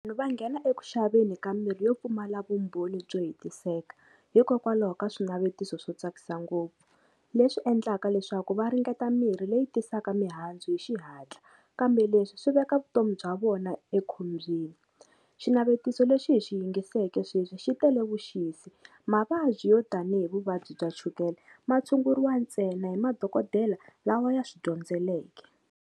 Va nghena eku xaveni ka mirhi yo pfumala vumbhoni byo hetiseka, hikokwalaho ka swinavetiso swo tsakisa ngopfu, leswi endlaka leswaku va ringeta mirhi leyi tisaka mihandzu hi xihatla, kambe leswi swi veka vutomi bya vona ekhombyeni. Xinavetiso lexi hi xi yingiseleke sweswi xi tele vuxisi, mavabyi yo tanihi vuvabyi bya chukele ma tshunguriwa ntsena hi madokodela lawa ya swi dyondzeleke.